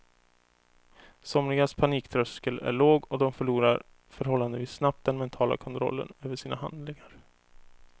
Somligas paniktröskel är låg och de förlorar förhållandevis snabbt den mentala kontrollen över sina handlingar.